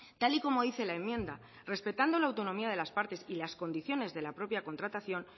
tal y como dice la enmienda respetando la autonomía de las partes y las condiciones de la propia contratación